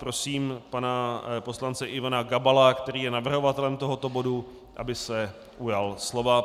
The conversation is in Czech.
Prosím pana poslance Ivana Gabala, který je navrhovatelem tohoto bodu, aby se ujal slova.